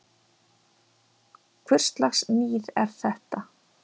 Hvurslags níð er þetta!